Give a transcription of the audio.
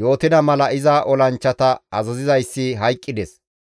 yootida mala iza olanchchata azazizayssi hayqqides.